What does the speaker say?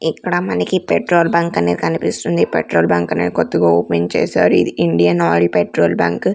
ఇక్కడ మనకి petrol bunk అనే కనిపిస్తుంది పెట్రోల్ బంక్ ని కొత్తగా ఓపెన్ చేశారు ఇది ఇండియన్ ఆయిల్ పెట్రోల్ బంక్ .